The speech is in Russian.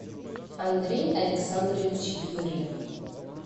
андрей александрович юрьев